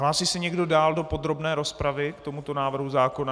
Hlásí se někdo dál do podrobné rozpravy k tomuto návrhu zákona?